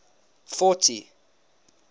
forty